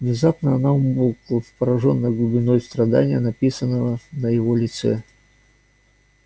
внезапно она умолкла поражённая глубиной страдания написанного на его лице